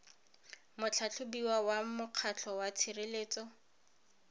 motlhatlhobiwa wa mokgatlho wa tshireletso